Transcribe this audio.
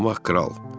Axmaq kral.